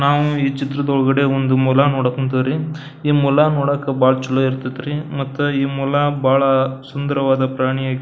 ನಾವು ಈ ಚಿತ್ರದ ಒಳಗಡೆ ಒಂದು ಮೊಲ ನೋಡಕ್ ಹೊಂಥವ್ರಿ. ಈ ಮೊಲ ನೋಡಾಕ ಬಹಳ ಚಲೋ ಇರತೈತ್ರಿ ಮತ್ತ ಈ ಮೊಲ ಬಹಳ ಸುನ್ದರವಾದ ಪ್ರಾಣಿಯಾ --